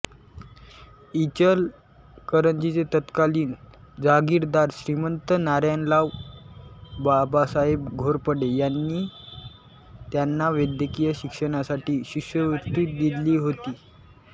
इचलकरंजीचे तत्कालीन जहागिरदार श्रीमंत नारायणराव बाबासाहेब घोरपडे यांनी त्यांना वैद्यकीय शिक्षणासाठी शिष्यवृत्ती दिली होती